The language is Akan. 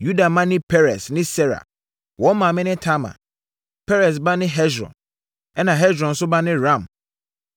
Yuda mma ne Peres ne Sera. Wɔn maame ne Tamar. Peres ba ne Hesron ɛnna Hesron nso ba ne Ram.